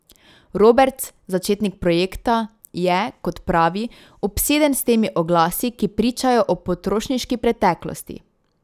Roberts, začetnik projekta, je, kot pravi, obseden s temi oglasi, ki pričajo o potrošniški preteklosti.